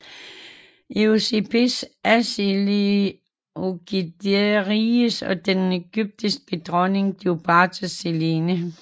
Eusebes af Seleukideriget og den ægyptiske dronning Kleopatra Selene